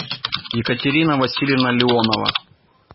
екатерина васильевна леонова